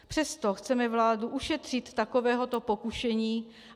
Přesto chceme vládu ušetřit takovéhoto pokušení.